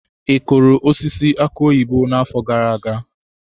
Ị kụrụ osisi aki oyibo n'afọ gara aga?